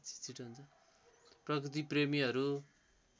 प्रकृति प्रेमीहरू